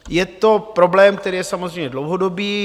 Je to problém, který je samozřejmě dlouhodobý.